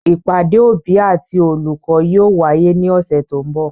Ìpàdé òbí àti olùkọ́ yóò wáyé ní ọ̀sẹ̀ tó ń bọ̀.